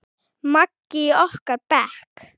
Maggi í okkar bekk?